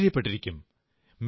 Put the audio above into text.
ആശ്ചര്യപ്പെട്ടിരിക്കും